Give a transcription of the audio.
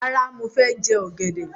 Rárá, mo fẹ jẹ ọ̀gẹ̀dẹ̀.